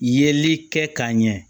Yeli kɛ ka ɲɛ